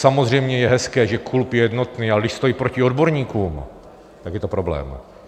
Samozřejmě je hezké, že klub je jednotný, ale když stojí proti odborníkům, tak je to problém.